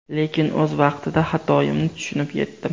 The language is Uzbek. Lekin o‘z vaqtida xatoimni tushunib yetdim.